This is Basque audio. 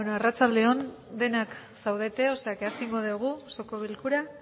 arratsalde on denak saudete osea que asingo degu osoko bilkura